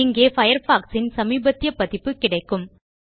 இங்கே Firefoxசின் சமீபத்திய பதிப்பு கிடைக்கும்